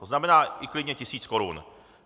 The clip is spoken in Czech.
To znamená klidně i tisíc korun.